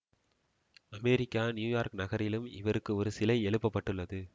America New York நகரிலும் இவருக்கு ஒரு சிலை எழுப்பப்பட்டுள்ளது